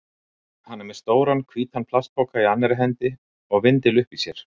Hann er með stóran, hvítan plastpoka í annarri hendi og vindil uppi í sér.